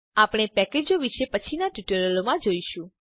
આપણે પેકેજો વિશે પછીનાં ટ્યુટોરીયલોમાં શીખીશું